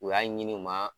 U y'a ɲini u ma